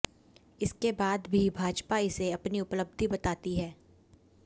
इसके बाद भी भाजपा इसे अपनी उपलब्धि बताती है